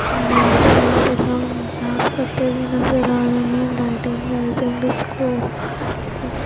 और यहाँ पे लोग डांस करते नज़र आ रहे है लाइटिंग वायटिंग डिस्को --